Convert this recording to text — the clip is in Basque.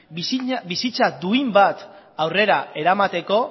bizitza duin bat aurrera eramateko